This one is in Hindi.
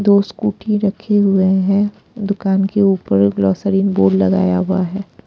दो स्कूटी रखे हुए हैं दुकान के ऊपर ग्लोसरीन बोर्ड लगाया हुआ है।